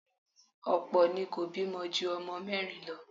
Ọ̀pọ̀ ni kò bímọ ju ọmọ mẹ́rin lọ.